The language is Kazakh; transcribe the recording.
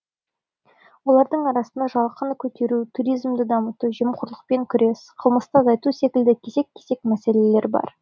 олардың арасында жалақыны көтеру туризмді дамыту жемқорлықпен күрес қылмысты азайту секілді кесек кесек мәселелер бар